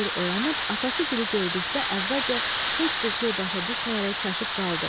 Nadir oyanıb atası Gili gördükdə əvvəlcə heç bir şey başa düşməyərək çaşıb qaldı.